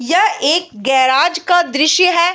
यह एक गेराज का दृश्य है।